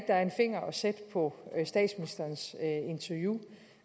der er en finger at sætte på interviewet